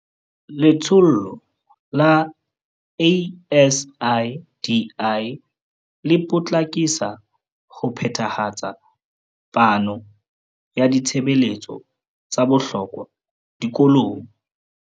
Letsholo la ASIDI le potlakisa ho phethahatsa phano ya ditshebeletso tsa bohlokwa dikolong.